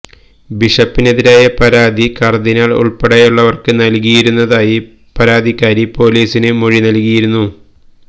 ബിഷപ്പിനെതിരായ പരാതി കര്ദിനാള് ഉള്പ്പെടെയുള്ളവര്ക്ക് നല്കിയിരുന്നതായി പരാതിക്കാരി പോലീസിന് മൊഴി നല്കിയിരുന്നു